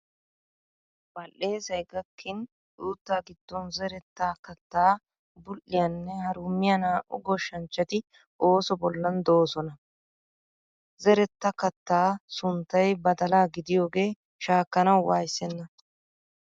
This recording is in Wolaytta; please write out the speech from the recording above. Badhdheesay gakkin uutta giddon zeretta kattaa bul"iya nne harummiya naa"u goshshanchchati ooso bollan doosona. Zeretta kattaa sunttay badalaa gidiyooge shaakkanawu wayssenna.